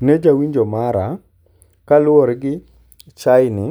Ne jawinjo mara, kaluwore gi chaeni